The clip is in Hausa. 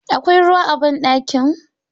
Akwai ruwa a banɗakin?